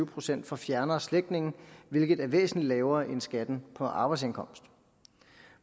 procent for fjernere slægtninge hvilket er væsentligt lavere end skatten på arbejdsindkomst